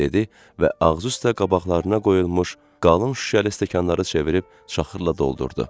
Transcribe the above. dedi və ağzıüstə qabaqlarına qoyulmuş qalın şüşəli stəkanları çevirib çaxırla doldurdu.